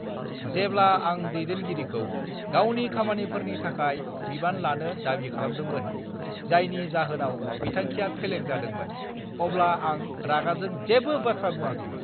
जेब्ला आं दैदेनगिरिखौ गावनि खामानिफोरनि थाखाय बिबान लानो दाबि खालामदोंमोन, जायनि जाहोनाव बिथांखिया फेलें जादोंमोन, अब्ला आं रागाजों जेबो बाथ्रा बुङाखैमोन।